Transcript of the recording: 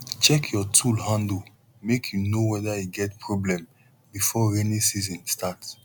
check your tool handle make you know whether e get problem before rainy season start